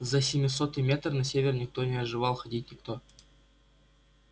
за семисотый метр на север не отваживался ходить никто